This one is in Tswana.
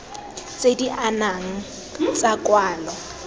tse di anamang tsa kwalo